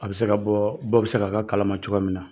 A be se ka bɔɔ bɔ be se ka k'a kalama cogoya min na.